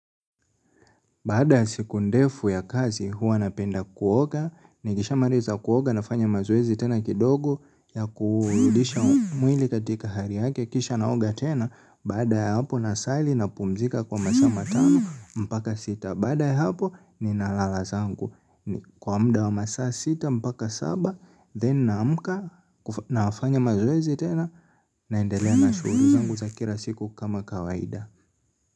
Baada ya siku ndefu ya kazi, huwa napenda kuoga, nikisha maliza kuoga, nafanya mazoezi tena kidogo, ya kurudisha mwili katika hali yake, kisha naoga tena, baada ya hapo nasali napumzika kwa masaa matano, mpaka sita, baada ya hapo ninalala zangu, kwa mda wa masaa sita, mpaka saba, then naamka, nafanya mazwezi tena, naendelea na shughuli zangu za kila siku kama kawaida.